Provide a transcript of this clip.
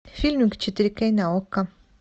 фильм в четыре кей на окко